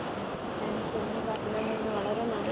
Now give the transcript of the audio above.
ആഹ് okay thanks ഇങ്ങനെ പറഞ്ഞു തന്നതിന്ന് വളരേ നന്ദി